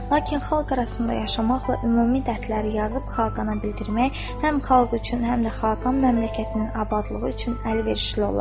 Lakin xalq arasında yaşamaqla ümumi dərdləri yazıb xaqana bildirmək həm xalq üçün, həm də xaqan məmləkətinin abadlığı üçün əlverişli olar.